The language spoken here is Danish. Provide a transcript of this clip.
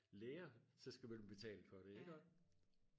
læger så skal man betale for det ikke også